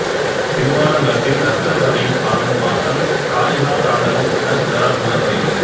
திருவாலங்காட்டில் ரத்தின சபையில் ஆடும் ஆட்டம் காளிகா தாண்டவம் எனச் சிலரால் சொல்லப் படுகிறது